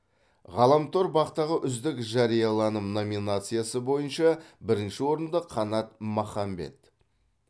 ғаламтор бақ ғы үздік жарияланым номинациясы бойынша бірінші орынды қанат махамбет